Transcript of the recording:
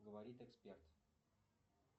говорит эксперт